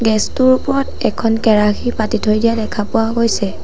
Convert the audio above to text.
Gas টোৰ ওপৰত এখন কেৰাহী পাতি থৈ দিয়া দেখা পোৱা গৈছে।